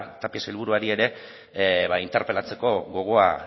tapia sailburuari ere interpelatzeko gogoa